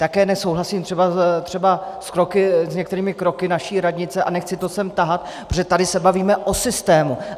Také nesouhlasím třeba s některými kroky naší radnice a nechci to sem tahat, protože tady se bavíme o systému.